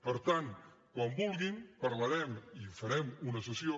per tant quan vulguin parlarem i farem una sessió